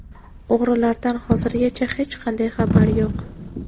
O‘g‘rilardan hozirgacha hech qanday xabar yo‘q.